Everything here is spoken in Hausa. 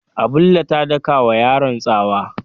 Abulle ta daka wa yaron tsawa.